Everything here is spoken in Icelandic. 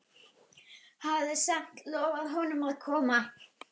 Hafði samt lofað honum að koma.